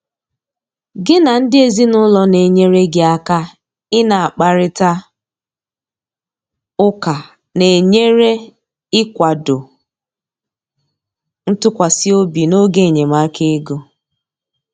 gị na ndị ezinụlọ na enyere gị aka ị na akparita ụka na enyere ikwado ntụkwasị obi n'oge enyemaka ego